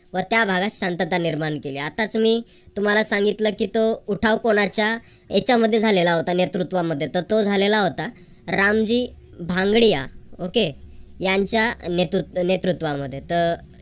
व त्या भागात शांतता निर्माण केली. आत्ताच मी तुम्हाला सांगितलं की तो उठाव कोणाच्या ह्याच्या मध्ये झालेला होता नेतृत्वामध्ये तर तो झालेला होता रामजी भांगडिया okay यांच्या नेतृत्व नेतृत्वामध्ये तर